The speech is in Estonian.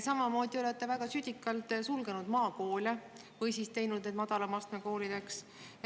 Samamoodi olete te väga südikalt sulgenud maakoole või muutnud need madalama astme koolideks.